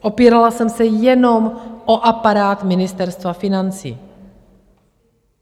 Opírala jsem se jenom o aparát Ministerstva financí.